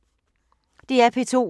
DR P2